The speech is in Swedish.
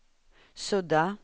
sudda